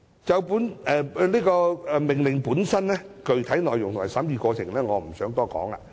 就本命令的具體內容及審議過程，我不想多談。